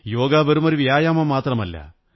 യോഗ വെറും വ്യായാമം മാത്രമല്ല